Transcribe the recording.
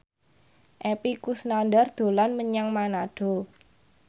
Epy Kusnandar dolan menyang Manado